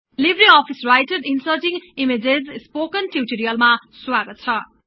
Libre Office Writer inserting ईमेजेस्को spoken टिउटोरियलमा स्वागत छ